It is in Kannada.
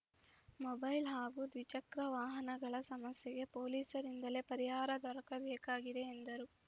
ಮೊಬೈಲ್‌ ಹಾಗೂ ದ್ವಿಚಕ್ರ ವಾಹನಗಳ ಸಮಸ್ಯೆಗೆ ಪೊಲೀಸರಿಂದಲೇ ಪರಿಹಾರ ದೊರಕಬೇಕಾಗಿದೆ ಎಂದರು